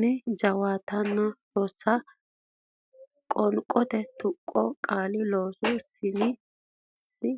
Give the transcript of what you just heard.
nin jawaatatenninna Rosiishsha Qoonqote Tuqqo Qaale loo saa sin choo nan